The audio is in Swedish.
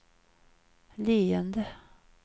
leende